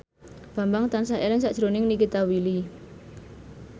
Bambang tansah eling sakjroning Nikita Willy